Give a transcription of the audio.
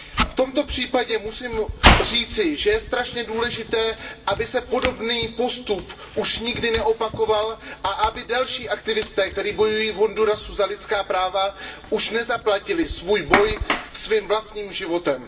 V tomto případě musím říci, že je strašně důležité, aby se podobný postup už nikdy neopakoval a aby další aktivisté, kteří bojují v Hondurasu za lidská práva, už nezaplatili za svůj boj svým vlastním životem.